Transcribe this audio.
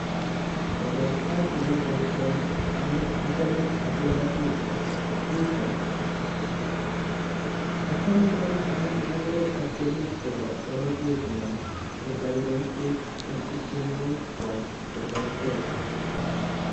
Korok achame boisioni amu achame abiroti picha, achame kora amun akere ka tyenik chebo bororyenyo cheboiboitech en ityenwogikwach che terter.